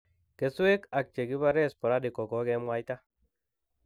Keswek ak chegibare sporadic kogogemwaita